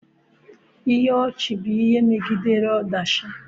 Ihe ọchị bụ ihe megidere ọdachi.